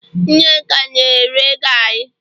Nneka na- ere gari